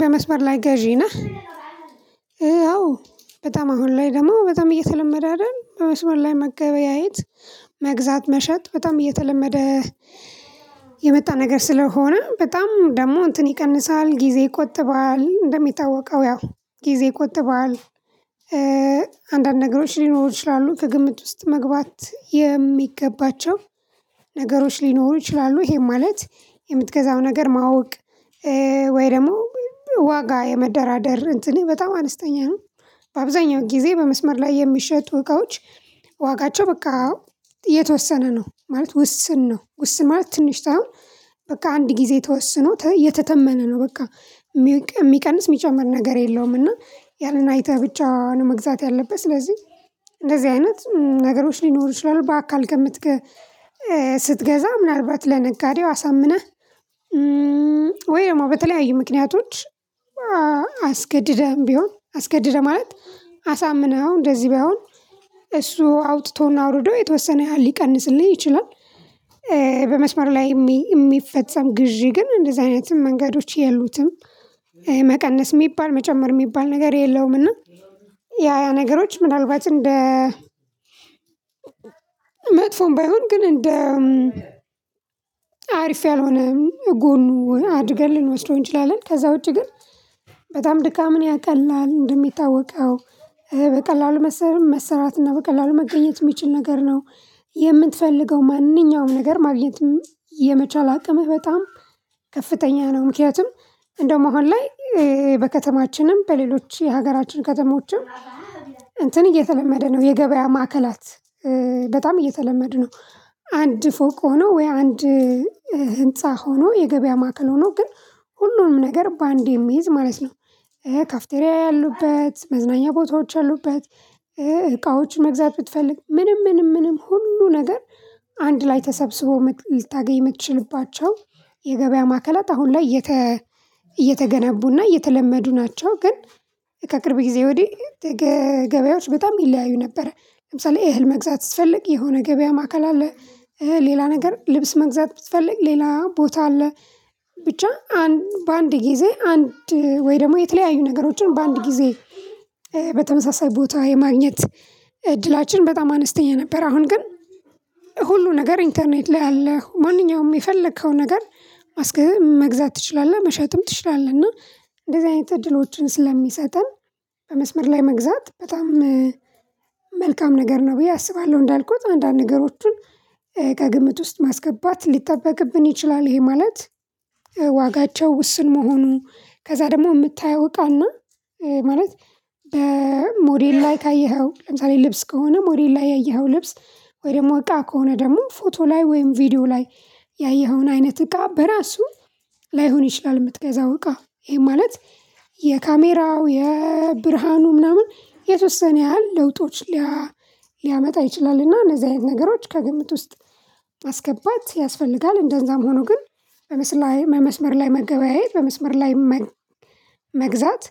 በመስመር ላይ ገዢ ነህ ያው በጣም አሁን ላይ ደግሞ በጣም እየተለመደ አይደል በመስመር ላይ መገበያየት መግዛት መሸጥ በጣም እየተለመደ። የመጣ ነገር ስለሆነ በጣም ደግሞ እንትን ይቀንሳል ጊዜ ይቆጥዋል እንደሚታወቀው ያው ጊዜ እኮ ይቆጥባል። አንዳንድ ነገሮች ሊኖሩ ይችላሉ ከግምት ውስጥ መግባት የሚገባቸው ነገሮች ሊኖሩ ይችላሉ። ይሄ ማለት የምትገዛው ነገር ማወቅ ወይ ደግሞ ዋጋ የመደራደር እንትኔ በጣም አነስተኛ ነው። በአብዛኛው ጊዜ በመስመር ላይ የሚሸጡ እቃዎች ዋጋቸው በቃ የተወሰነ ነው ማለት ውስን ነው ውስን ማለት ትንሽ ሳይሆን በቃ አንድ ጊዜ ተወስኖ የተተመነ ነው በቃ ሚቀንስ ሚጨምር ነገር የለውም። እና ያን አይተህ ብቻ ነው መግዛት ያለበህ ስለዚህ እንደዚህ አይነት ነገሮች ሊኖሩ ይችላሉ። በአካል ከምትገ ስትገዛ ምናልባት ለነጋዴው አሳምነህ ወይ ደግሞ በተለያዩ ምክንያቶች አስገድደህም ቢሆን አስገድደህ ማለት አሳምነው እንደዚህ ቢይሆን እሱ አውጥቶና አውርዶ የተወሰነ ሊቀንስልህ ይችላል። በመስመር ላይ ሚ ሚፈጸም ግዢ ግን እንደዚህ አይነት መንገዶች የሉትም መቀነስ ሚባል መጨመር ሚባል ነገር የለውም። እና ያ ያ ነገሮች ምናልባት እንደ መጥፎም ባይሆን ግን እንደ አሪፍ ያልሆነ ጎኑ አድርገን ልንወስደው እንችላለን። ከዛ ውጪ ግን በጣም ድካምን ያቀላል እንደሚታወቀው በቀላሉ መስ መሰራት እና በቀላሉ መገኘት ሚችል ነገር ነው። የምትፈልገው ማንኛውም ነገር ማግኘት የመቻል አቅምህ በጣም ከፍተኛ ነው። ምክንያቱም እንደውም አሁን ላይ በከተማችንም በሌሎች የሀገራችን ከተሞችም እንትን እየተለመደ ነው የገበያ ማዕከላት በጣም እየተለመደ ነው። አንድ ፎቅ ሆኖ ወይ አንድ ህንፃ ሆኖ የገበያ ማዕከል ሆኖ ግን ሁሉም ነገር በአንዴ የሚይዝ ማለት ነው። ካፍቴሪያ ያሉበት መዝናኛ ቦታዎች ያሉበት እቃዎች መግዛት ብትፈልግ ምንም ምንም ምንም ሁሉ ነገር አንድ ላይ ተሰብስቦ ልታገኝ ምትችልባቸው የገበያ ማዕከላት አሁን ላይ እየተ እየተገነቡና እየተለመዱ ናቸው። ግን ከቅርብ ጊዜ ወዲህ ገ ገበያዎች በጣም ይለያዩ ነበር። ለምሳሌ እህል መግዛት ስትፈልግ የሆነ ገበያ ማዕከል አለ። ሌላ ነገር ልብስ መግዛት ብትፈልግ ሌላ ቦታ አለ። ብቻ አን በአንድ ጊዜ አንድ ወይ ደሞ የተለያዩ ነገሮችን በአንድ ጊዜ በተመሳሳይ ቦታ የማግኘት እድላችን በጣም አነስተኛ ነበር። አሁን ግን ሁሉ ነገር ኢንተርኔት ላይ አለ ማንኛውም የፈለከው ነገር ማስክ መግዛት ትችላለህ መሸጥም ትችላለህ። እና እንደዚህ አይነት እድሎችን ስለሚሰጠን በመስመር ላይ መግዛት በጣም መልካም ነገር ነው ብዬ አስባለሁ። እንዳልኩት አንዳንድ ነገሮቹን ከግምት ውስጥ ማስገባት ሊጠበቅብን ይችላል። ይህም ማለት ዋጋቸው ውስን መሆኑ ከዛ ደሞ ምታየው እቃ እና ማለት በ ሞዴል ላይ ካየኸው ለምሳሌ ልብስ ከሆነ ሞዴል ላይ ያየኸው ልብስ ወይ ደሞ እቃ ከሆነ ደሞ ፎቶ ላይ ወይም ቪዲዮ ላይ ያየኸውን አይነት እቃ በራሱ ላይሆን ይችላል። ምትገዛው እቃ ይህም ማለት የካሜራው የብርሃኑ ምናምን የተወሰነ ያህል ለውጦች ሊያ ሊያመጣ ይችላል። እና እነዚህ አይነት ነገሮች ከግምት ውስጥ ማስገባት ያስፈልጋል። እንደዛም ሆኖ ግን በመስመ ላይ በመስመር ላይ መገበያየት በመስመር ላይ መ መግዛት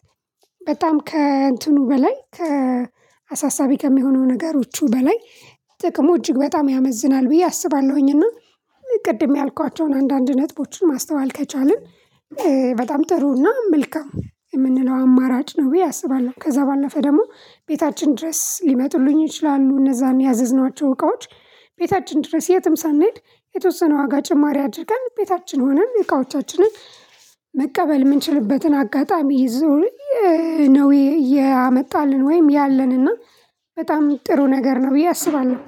በጣም ከእንትኑ በላይ ከአሳሳቢ ከሚሆነው ነገሮቹ በላይ ጥቅሙ እጅግ በጣም ያመዝናል። ብዬ አስባለሁኝና ቅድም ያልኳቸውን አንዳንድ ነጥቦችን ማስተዋል ከቻልን በጣም ጥሩና መልካም ምንለው አማራጭ ነው ብዬ አስባለሁ። ከዛ ባለፈ ደግሞ ቤታችን ድረስ ሊመጡልኝ ይችላሉ እነዛን ያዘዝኗቸው እቃዎች። ቤታችን ድረስ የትም ሳንሄድ የተወሰነ ዋጋ ጭማሪ አድርገን ቤታችን ሆነን እቃዎቻችንን መቀበል ምንችልበትን አጋጣሚ ይዞ ነው። እያመጣልን ወይም ያለንና በጣም ጥሩ ነገር ነው ብዬ አስባለሁ።